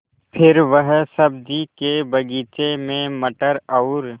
फिर वह सब्ज़ी के बगीचे में मटर और